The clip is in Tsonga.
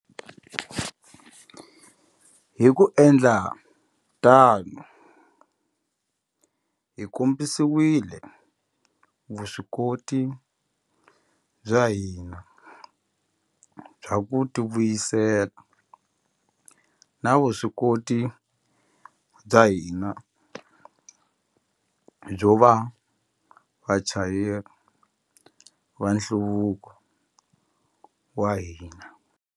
Hi ku endla tano, hi kombisile vuswikoti bya hina bya ku tivuyisela na vuswikoti bya hina byo va vachayeri va nhluvuko wa hina.